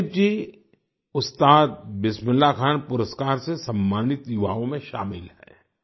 जॉयदीप जी उस्ताद बिस्मिल्लाह खान पुरस्कार से सम्मानित युवाओं में शामिल हैं